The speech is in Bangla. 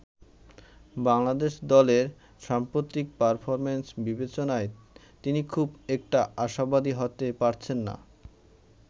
বাংলাদেশ দলের সাম্প্রতিক পারফরমেন্স বিবেচনায় তিনি খুব একটা আশাবাদী হতে পারছেন না।